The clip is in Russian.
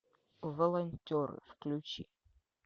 волонтеры включи